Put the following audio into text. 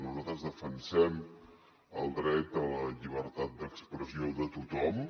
nosaltres defensem el dret a la llibertat d’expressió de tothom